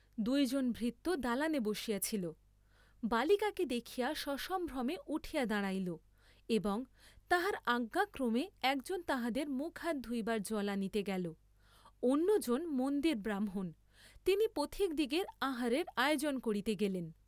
দুইজন ভৃত্য দালানে বসিয়া ছিল, বালিকাকে দেখিয়া সসম্ভ্রমে উঠিয়া দাঁড়াইল, এবং তাহার আজ্ঞাক্রমে একজন তাঁহাদের মুখহাত ধুইবার জল আনিতে গেল্ন্য, জন মন্দিরব্রাহ্মণ, তিনি পথিকদিগের আহারের আয়োজন করিতে গেলেন।